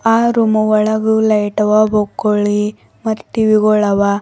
ಆ ರೂಮು ಒಳಗೆ ಲೈಟ್ ಅವ ಮತ್ ಟಿ_ವಿ ಗೊಳವ.